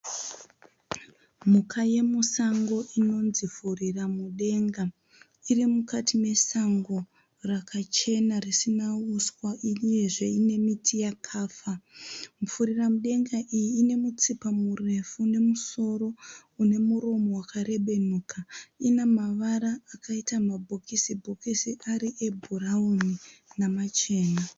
Mhuka yemusango inonzi furiramudenga. Iri mukati mesango rakachena risina huswa uyezve nemiti yakafa. Furiramudenga iyi ine mutsipa murefu nemusoro une muromo wakarebenuka. Ine mavara akaita mabhokisi bhokisi ari ebhurauni namachena.